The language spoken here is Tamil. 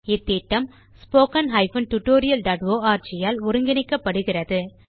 இந்த திட்டம் httpspoken tutorialorg ஆல் ஒருங்கிணைக்கப்படுகிறது